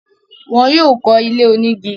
wọn yóò kọ́ ilé onígi.